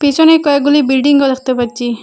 পিছনে কয়েকগুলি বিল্ডিংও দেখতে পাচ্চি ।